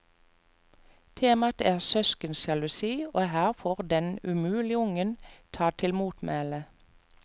Tema er søskensjalusi, og her får den umulige ungen ta til motmæle.